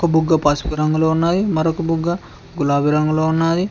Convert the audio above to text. బుగ్గ పసుపు రంగులో ఉన్నది మరొక బుగ్గ గులాబి రంగులో ఉన్నాది.